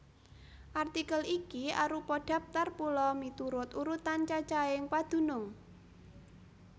Artikel iki arupa dhaptar pulo miturut urutan cacahing padunung